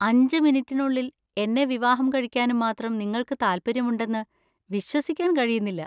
അഞ്ച് മിനിറ്റിനുള്ളിൽ എന്നെ വിവാഹം കഴിക്കാനും മാത്രം നിങ്ങൾക്ക് താൽപ്പര്യമുണ്ടെന്ന് വിശ്വസിക്കാൻ കഴിയുന്നില്ല.